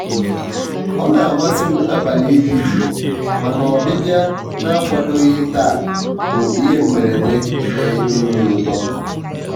ọ na-amasị m abalị ịdị jụụ mana ọbịbịa na-akwadoghị taa bụ ihe mberede na-enye obi ụtọ.